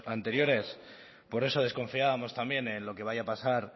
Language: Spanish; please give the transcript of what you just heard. anteriores por eso desconfiábamos también en lo que vaya a pasar